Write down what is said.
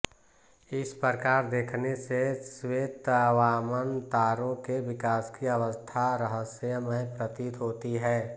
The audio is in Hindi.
इस प्रकार देखने से श्वेतवामन तारो के विकास की अवस्था रहस्यमय प्रतीत होती है